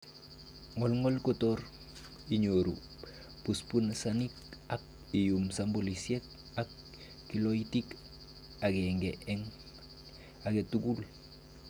Ngolngol kotor inyoru busbusanik, ak iyum sampolisiek ak kiloit agenge en agetugul.